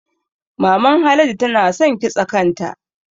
Maman Haladu tana san kitsa kanta